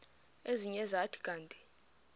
ezinye zathi kanti